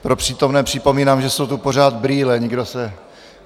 Pro přítomné připomínám, že jsou tu pořád brýle.